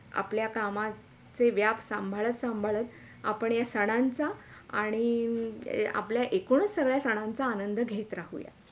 आपल्या कामाचे व्याप संभाळत -सांभाळत आपण हे सणांचा आणि आपल्या एकोण ही सगळ्या सणांचा आनंद घेत राहू या.